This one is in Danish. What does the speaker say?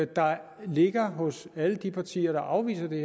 der ligger hos alle de partier der afviser det